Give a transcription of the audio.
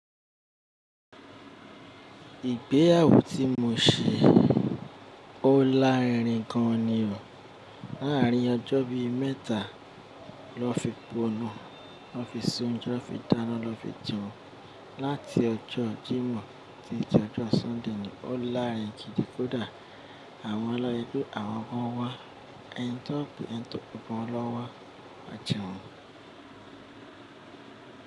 Ìgbéyàwó tí mo ṣe, ó láàárín gan ni o. Láàrin ọjọ́ bí mẹ́ta lọ́ fi po inú, lọ́ fi se ounje, fi dáná, lọ́ fi jẹun. Láti ọjọ́ jímọ̀ tí jọjọ́ sọ́ndè ni ó láàrin jíjìkódà àwọn ọlọ́gbọ́n, àwọn ọmọ ọwá, àyàntọ̀kẹ́, àyàntọ̀bọ́n ọlọ́wọ́ àjẹùn.